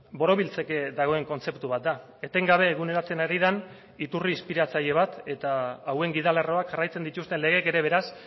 borobiltzeke dagoen kontzeptu bat da etengabe eguneratzen ari den iturri inspiratzaile bat eta hauen gidalerroak jarraitzen dituzten legeek ere beraz